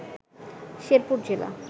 শেরপুর জেলা